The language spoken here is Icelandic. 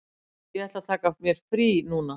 Ég ætla að taka mér frí núna.